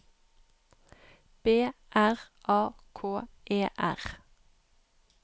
B R A K E R